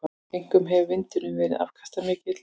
Einkum hefur vindurinn verið afkastamikill.